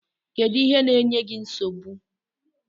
Kedu ihe na-enye gi nsogbu?